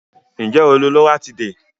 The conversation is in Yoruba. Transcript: Nje o lo loratiday?